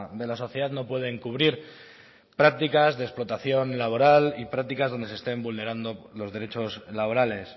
de la sociedad no puede encubrir prácticas de explotación laboral y prácticas donde se estén vulnerando los derechos laborales